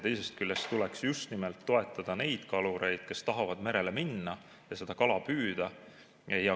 Teisest küljest tuleks just nimelt toetada neid kalureid, kes tahavad merele minna ja kala püüda.